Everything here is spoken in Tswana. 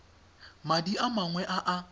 madi a mangwe a a